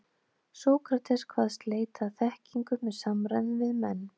Sókrates kvaðst leita að þekkingu með samræðum við menn.